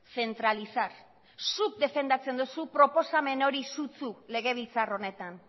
centralizar zuk defendatzen duzu proposamen hori sutsu legebiltzar honetan